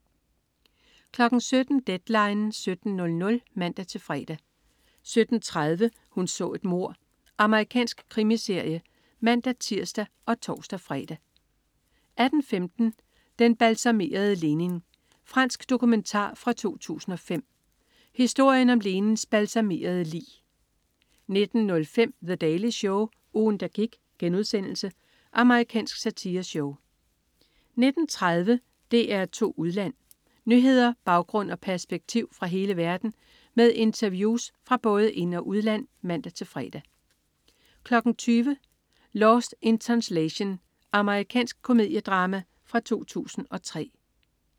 17.00 Deadline 17.00 (man-fre) 17.30 Hun så et mord. Amerikansk krimiserie (man-tirs og tors-fre) 18.15 Den balsamerede Lenin. Fransk dokumentar fra 2005. Historien om Lenins balsamerede lig 19.05 The Daily Show. Ugen, der gik.* Amerikansk satireshow 19.30 DR2 Udland. Nyheder, baggrund og perspektiv fra hele verden med interviews fra både ind- og udland (man-fre) 20.00 Lost in Translation. Amerikansk komediedrama fra 2003